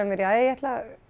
mér jæja ég ætla